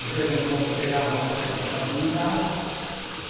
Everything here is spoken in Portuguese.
De vez em quando eu pegava uma licença para vir em casa.